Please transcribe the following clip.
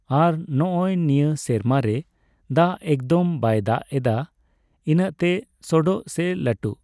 ᱟᱨ ᱱᱚᱜᱼᱚᱭ ᱱᱤᱭᱟᱹ ᱥᱮᱨᱢᱟ ᱨᱮ ᱫᱟᱜ ᱮᱠᱫᱚᱢ ᱵᱟᱭ ᱫᱟᱜ ᱮᱫᱟ ᱤᱱᱟᱹᱜᱛᱮ ᱥᱚᱰᱚᱜ ᱥᱮ ᱞᱟᱹᱴᱩ